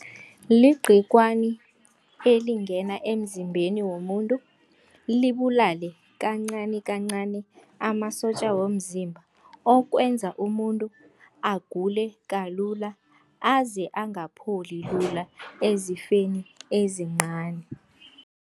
Ligcikwana elikungena emzimbeni womuntu, libulale kancanikancani amasotja womzimba okwenza umuntu agule kalula aze angapholi lula ezifeni ezincani.